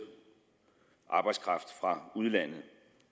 arbejdskraft fra udlandet